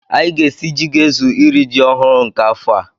Anyị ga-esi ji ga-ezu iri ji ọhụrụ nke afọ a.